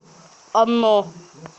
оно